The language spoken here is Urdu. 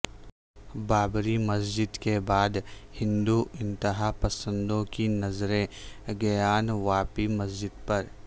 بابری مسجد کے بعد ہندو انتہا پسندوں کی نظریں گیان واپی مسجد پر